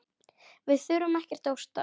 Við þurfum ekkert að óttast!